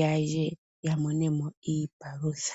yalye yamone mo iipalutha.